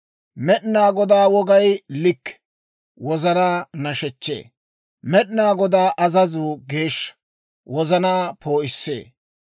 Med'inaa Godaa wogay likke; wozanaa nashechchee. Med'inaa Godaa azazuu geeshsha; wozanaa poo'issee.